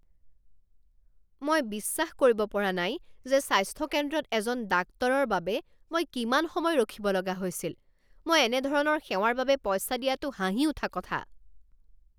মই বিশ্বাস কৰিব পৰা নাই যে স্বাস্থ্য কেন্দ্ৰত এজন ডাক্তৰৰ বাবে মই কিমান সময় ৰখিব লগা হৈছিল! মই এনে ধৰণৰ সেৱাৰ বাবে পইচা দিয়াটো হাঁহি উঠা কথা।